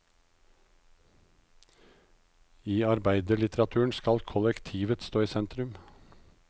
I arbeiderlitteraturen skal kollektivet stå i sentrum.